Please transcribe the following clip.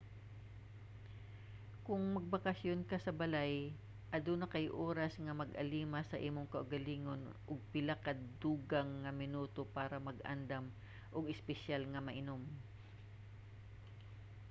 kung magbakasayon ka sa balay aduna kay oras nga mag-alima sa imong kaugalingon ug pila ka dugang nga minuto para mag-andam og espesyal nga mainom